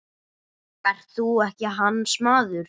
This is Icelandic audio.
Ert þú ekki hans maður?